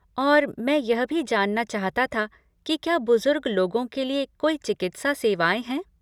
और मैं यह भी जानना चाहता था कि क्या बुजुर्ग लोगों के लिए कोई चिकित्सा सेवाएँ हैं?